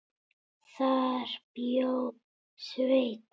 Þar bjó Sveinn